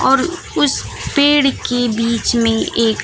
और उस पेड़ की बीच में एक--